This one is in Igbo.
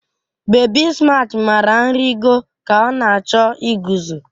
Bebi Smaat mara nrịgo ka ọ na-achọ iguzo